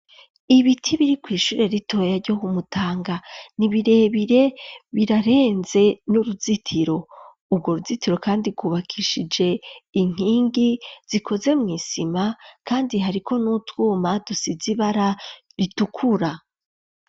Ibiti biri kw'ishure ritoya ryo ku Mutanga, ni birebire birarenze n'uruzitiro, urwo ruzitiro kandi rwubakishije inkingi zikoze mw'isima kandi hariko n'utwuma dusize ibara ritukura.